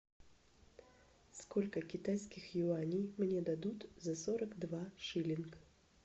сколько китайских юаней мне дадут за сорок два шиллинга